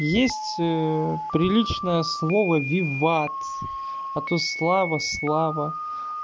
есть приличное слово виват а то слава слава